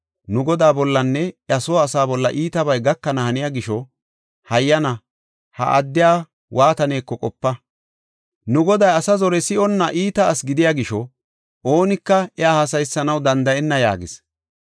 Nu godaa bollanne iya soo asaa bolla iitabay gakana haniya gisho, hayyana ha odaa waataneko qopa. Nu goday asa zore si7onna iita asi gidiya gisho, oonika iya haasayisanaw danda7enna” yaagis.